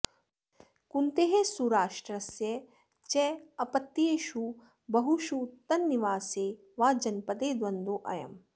कुन्तेः सुराष्ट्रस्य च अपत्येषु बहुषु तन्निवासे वा जनपदे द्वन्द्वो ऽयम्